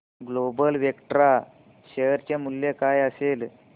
global Vectra share चे मूल्य काय असेल